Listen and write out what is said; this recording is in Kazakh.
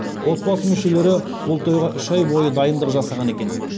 отбасы мүшелері бұл тойға үш ай бойы дайындық жасаған екен